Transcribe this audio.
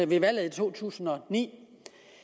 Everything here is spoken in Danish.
ved valget i to tusind og ni